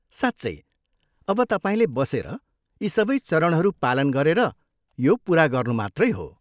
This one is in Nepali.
साँच्चै! अब तपाईँले बसेर यी सबै चरणहरू पालन गरेर यो पुरा गर्नु मात्रै हो।